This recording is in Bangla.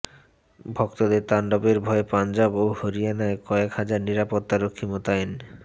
ভক্তদের তাণ্ডবের ভয়ে পাঞ্জাব ও হরিয়ানায় কয়েক হাজার নিরাপত্তা রক্ষী মোতায়েন